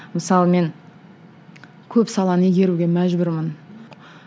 мысалы мен көп саланы игеруге мәжбүрмін